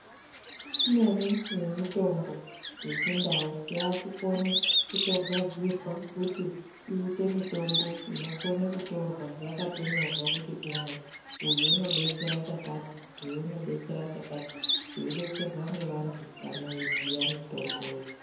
Imweni yemitombo yechindau yakukone kutogadzirwa kuti iite mitombo inokone kutora yakatonyorwa kuti umwu uyu unodetsera chakati, uyu unodetsera chakati, veidetserw nevantu vanoyiziya mitombo iyoyo.